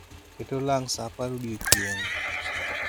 ket olang' saa apar odiechieng'